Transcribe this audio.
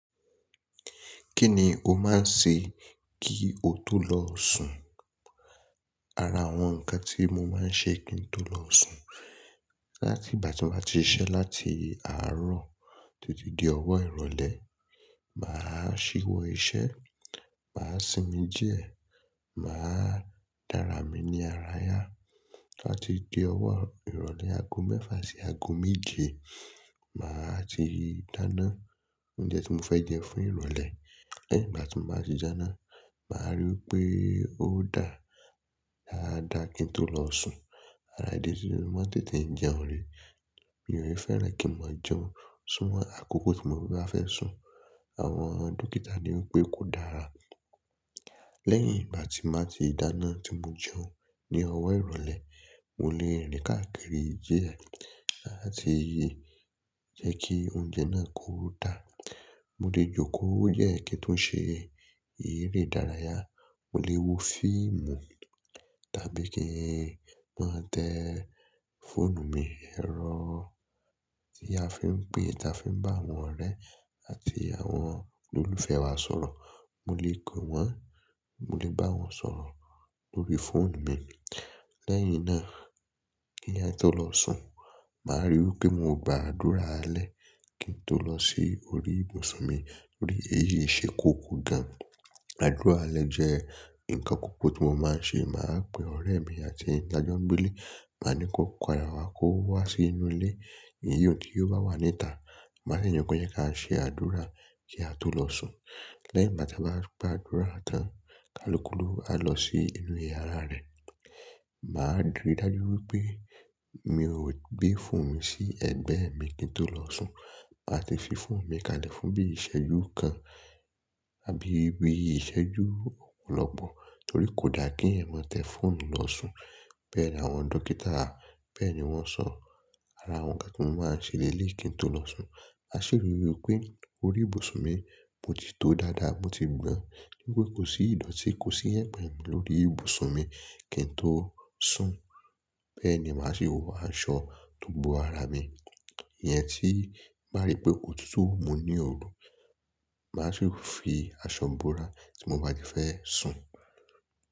Kí ni o máa ń ṣe kí o tó lọ sùn? Ara àwọn nǹkan tí mo máa ń ṣe kí n tó lọ sùn láti ìgbà tí n bá ti ṣiṣẹ́ láti àárọ̀ títí di ọwọ́ ìrọ̀lẹ́. Màá ṣí wọ́ iṣẹ́, màá sinmi díẹ̀, màá dàrà mí ní àrà yá. Tó báti di ọwọ́ ìrọ̀lẹ́ aago mẹ́fà sí aago méje, màá ti dáná oúnjẹ tí mo fẹ́ jẹ fún ìrọ̀lẹ́. Lẹ́yìn ìgbà tí mo bá ti dáná, màá ríi pé ó dà dáadáa kí n tó lọ sùn. Ara ìdí si ní mo máa ń tètè jẹun rè, mi ò fẹ́rẹ̀n kí n máa jẹun súnmọ́ àkókò tí mo bá fẹ́ sùn. Àwọn dókítà ní wípé kò dára. Lẹ́yìn ìgbà tí n bá ti dáná tí mo jẹun ní ọwọ́ ìrọ̀lẹ́, mo lè rìn káàkiri díẹ̀ láti jẹ́ kí oúnjẹ náà kó dà. Mo lè jókòó díẹ̀ kin tún ṣe eré ìdárayá, mo lè wo fíìmù tàbí kí n máa tẹ fọ́ọ̀nù mi. Ẹ̀rọ tí a fi ń pè tí a fi ń bá àwọn ọ̀rẹ́ àti àwọn olólùfẹ́ wa sọ̀rọ̀, mo lè pe wọ́n, mo lè bá wọn sọ̀rọ̀ lórí fóònù mi. Lẹ́yìn náà kí èèyàn tó lọ sùn, màá ríi wípé mo gba àdúrà alẹ́ kí n tó lọ sí orí ìbùsùn mi torí èyí ṣe kókó gan. Àdúrà alẹ́ jẹ́ nǹkan kokọ̀ tí mo máa ń ṣe. Màá pe ọ̀rẹ́ mi àti èyí táa jọ ń gbé ilé, màá ní kí ó padà wá kó wá sí inú ilé, èyí un tí ó bá wà níta. Màá dè nì ko je kase àdúrà kí a tó lọ sùn. Lẹ́yìn ìgbàtí á bá gba àdúrà tán, kálukú lowu á lọ sí inú iyàrá rẹ̀. Màá rí i dájú wípé mi ò gbé fọ́ọ̀nù sí ẹ̀gbẹ́ mi kí n tó lọ sùn. Màá ti fi fọ́ọ̀nù mi ká lẹ̀ fún bí iṣẹ́jú kan àbí bí iṣẹ́jú ọ̀pọ̀lọpọ̀ torí kò dáa kí ẹ̀eyan ma tẹ fọ́ọ̀nù lọ sùn. Bẹ́ẹ̀ ni àwọn dókítà, bẹ́ẹ̀ ni wọ́n sọ. Ara àwọn nǹkan tí mo máa ń ṣe lẹ́léyi kí n tó lọ sùn, maṣírí wípé orí ìbùsùn mi mo ti tó dáadáa, mo ti gbọ́n wípé kò sí ìdọ̀tí, kò sí yẹ̀pẹ̀ lórí ìbùsùn mi kí n tó sùn. Bẹ́ẹ̀ ni màá sì wọ aṣọ tó bo ara mi ìyẹn tí n bá ríi pé òtútù mú ní òru. Màá sì fi aṣọ bora tí mo bá ti fẹ́ sùn.